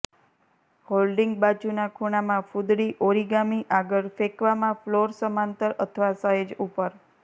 holding બાજુના ખૂણામાં ફૂદડી ઓરિગામિ આગળ ફેંકવામાં ફ્લોર સમાંતર અથવા સહેજ ઉપર